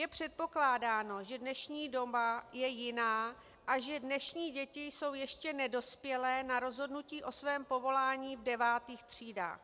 Je předpokládáno, že dnešní doba je jiná a že dnešní děti jsou ještě nedospělé na rozhodnutí o svém povolání v devátých třídách.